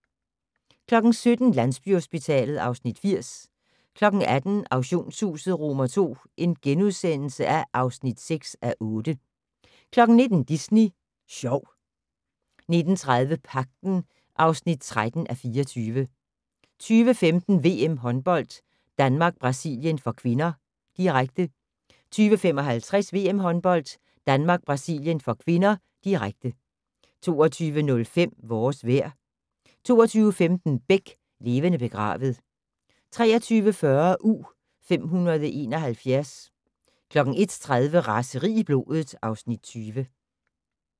17:00: Landsbyhospitalet (Afs. 80) 18:00: Auktionshuset II (6:8)* 19:00: Disney Sjov 19:30: Pagten (13:24) 20:15: VM-håndbold: Danmark-Brasilien (k), direkte 20:55: VM-håndbold: Danmark-Brasilien (k), direkte 22:05: Vores vejr 22:15: Beck: Levende begravet 23:40: U-571 01:30: Raseri i blodet (Afs. 20)